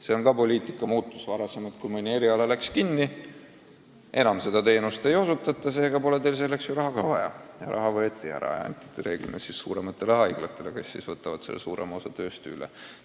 See tähendab poliitika muutust: varem oli nii, et kui mõni eriala läks kinni, enam seda teenust ei osutatud, siis nagu polnud selleks raha ka vaja ja raha võeti ära ning anti reeglina suurematele haiglatele, kes võtsid suurema osa tööst üle.